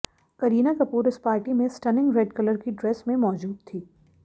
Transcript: करीना कपूर इस पार्टी में stunning red colour की ड्रेस में मौजूद थी